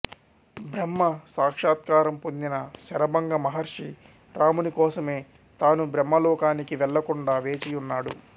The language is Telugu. బ్రహ్మ సాక్షాత్కారం పొందిన శరభంగ మహర్షి రాముని కోసమే తాను బ్రహ్మలోకానికి వెళ్ళకుండా వేచియున్నాడు